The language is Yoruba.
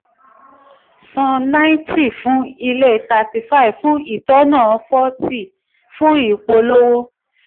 san ninety fún ilé thirty five fún itànná forty fún ìpolówó.